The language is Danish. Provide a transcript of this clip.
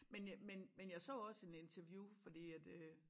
Men jeg men men jeg så også en interview fordi at øh